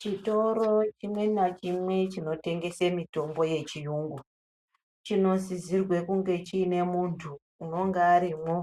Chitoro chine nachimwe chinotengese mitombo yechiyungu chinosisirwe kunge chine munthu unonga arimwo